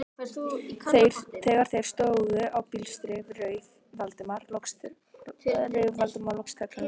Þegar þeir stóðu á blístri rauf Valdimar loks þögnina.